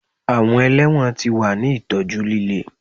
Awọn ẹlẹwọn ti wa ni itọju lile